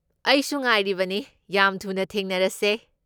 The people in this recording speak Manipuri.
ꯑꯩꯁꯨ ꯉꯥꯏꯔꯤꯕꯅꯤ, ꯌꯥꯝ ꯊꯨꯅ ꯊꯦꯡꯅꯔꯁꯦ꯫